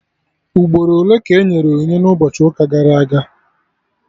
Ugboro ole ka enyere onyinye n'ụbọchị ụka gara aga?